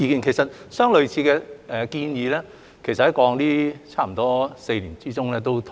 其實，相類似的建議在過去差不多4年內也討論過。